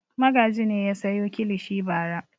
Magaji ne ya sayo kilishi bara.